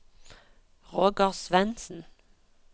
Roger Svendsen